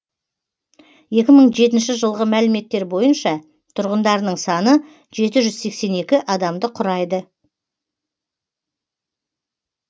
екі мың жетінші жылғы мәліметтер бойынша тұрғындарының саны жеті жүз сексен екі адамды құрайды